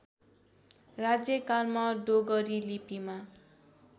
राज्यकालमा डोगरी लिपिमा